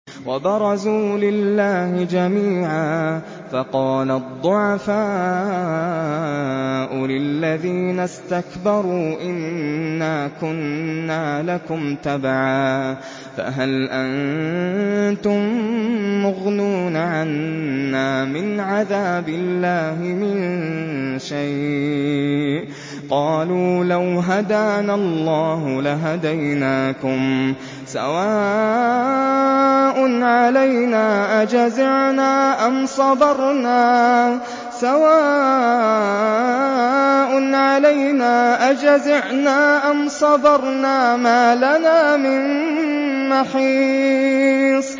وَبَرَزُوا لِلَّهِ جَمِيعًا فَقَالَ الضُّعَفَاءُ لِلَّذِينَ اسْتَكْبَرُوا إِنَّا كُنَّا لَكُمْ تَبَعًا فَهَلْ أَنتُم مُّغْنُونَ عَنَّا مِنْ عَذَابِ اللَّهِ مِن شَيْءٍ ۚ قَالُوا لَوْ هَدَانَا اللَّهُ لَهَدَيْنَاكُمْ ۖ سَوَاءٌ عَلَيْنَا أَجَزِعْنَا أَمْ صَبَرْنَا مَا لَنَا مِن مَّحِيصٍ